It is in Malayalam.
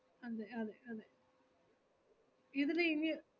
അതെ അതെ അതെ ഇതിന് ഇനി